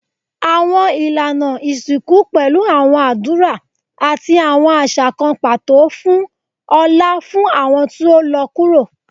Awọn ilana isinku pẹlu awọn adura ati awọn aṣa kan pato fun ọlá fun awọn ti o lọ kuro